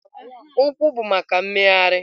Ụkwụ bụ maka mmegharị.